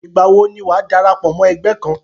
Ìgbà wo ni wàá darapọ̀ mọ́ ẹgbẹ́ kan?